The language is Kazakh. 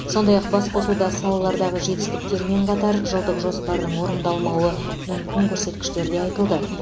сондай ақ басқосуда салалардағы жетістіктермен қатар жылдық жоспардың орындалмауы мүмкін көрсеткіштер де айтылды